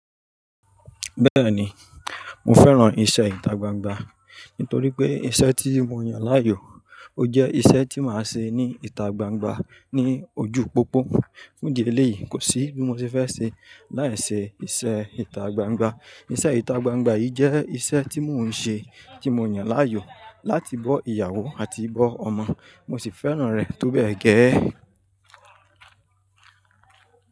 Bẹ́ẹ̀ni, mo fẹ́ran iṣẹ́ ìtagbangba nítorí pé iṣẹ́ tí mo yàn láàyò, ó jẹ́ iṣẹ́ tí màá ṣe ní ìtagbangba ní ojú pópó. Fún ìdí eléyìí, kò sí bí mo ṣe fẹ́ ṣe láì ṣe iṣẹ́ ìtagbangba. Iṣẹ́ ìtagbangba yìí jẹ́ iṣẹ́ tí mò ń ṣe tí mo yàn láàyò láti bọ́ ìyàwó àti bọ́ ọmọ, mo sì fẹ́ràn rẹ̀ tó bẹ́ẹ̀ gẹ́ẹ́.